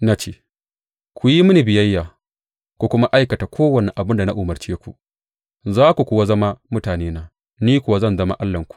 Na ce, Ku yi mini biyayya ku kuma aikata kowane abin da na umarce ku, za ku kuwa zama mutanena, ni kuwa zan zama Allahnku.